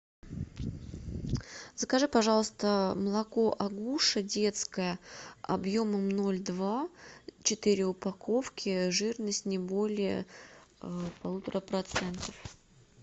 закажи пожалуйста молоко агуша детское объемом ноль два четыре упаковки жирность не более полутора процентов